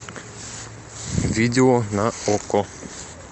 видео на окко